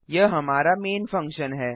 यह हमारा main function है